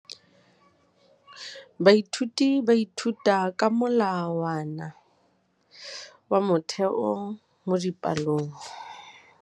Baithuti ba ithuta ka molawana wa motheo mo dipalong.